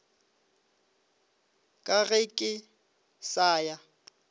ka ge ke sa ya